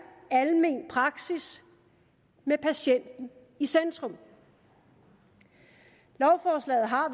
almen praksis med patienten i centrum lovforslaget har